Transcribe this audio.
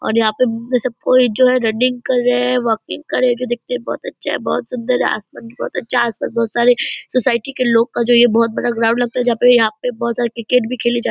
और यहाँ पे सब कोई जो है राइडिंग कर रहे हैं वाकिंग कर रहे हैं जो दिखने में बहोत अच्छा है बहोत सुन्दर है आसमान भी बहोत अच्छा आसमान में बहुत सारे सोसाइटी के लोग का जो ये बहोत बड़ा ग्राउंड लगता है जहाँ पे यहाँ पे बहोत सारे क्रिकेट भी खेली जा --